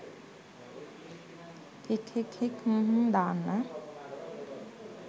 හික් හික් හික් හ්ම් හ්ම් දාන්න